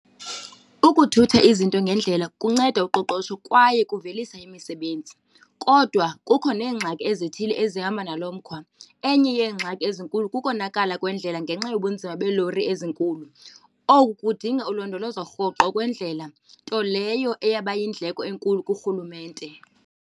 Ukuthutha izinto ngendlela kunceda uqoqosho kwaye kuvelisa imisebenzi kodwa kukho neengxaki ezithile ezihamba nalo mkhwa. Enye yeengxaki ezinkulu kukonakala kwendlela ngenxa yobunzima beelori ezinkulu. Oku kudinga ulondolozo rhoqo kwendlela, nto leyo eyaba yindleko enkulu kurhulumente.